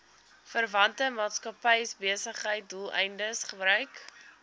verwante maatskappybesigheidsdoeleindes gebruik